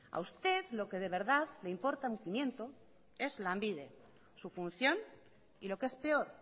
a usted lo que de verdad le importa un pimiento es lanbide su función y lo que es peor